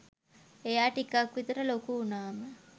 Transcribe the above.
එයා ටිකක් විතර ලොකු වුනාම